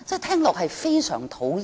聽罷令人非常討厭。